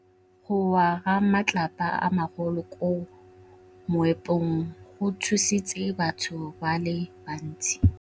Go wa ga matlapa a magolo ko moepong go tshositse batho ba le bantsi.